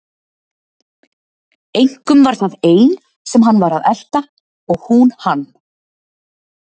Einkum var það ein sem hann var að elta og hún hann.